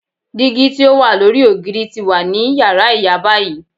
Digi ti o wa lori ogiri ti wa ni yara iya bayi.